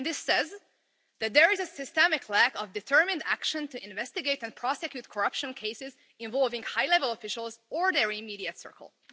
It says that there is a systemic lack of determined action to investigate and prosecute corruption cases involving high-level officials or their immediate circles.